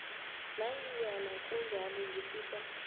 nanyana kunjalo ngifisa